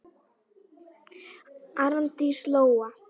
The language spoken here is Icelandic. Arndís Lóa.